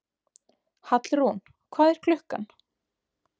Hallrún, hvað er klukkan?